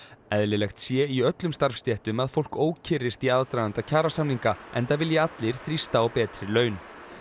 eðlilegt sé í öllum starfsstéttum að fólk ókyrrist í aðdraganda kjarasamninga enda vilji allir þrýsta á betri laun